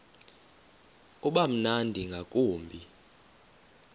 uba mnandi ngakumbi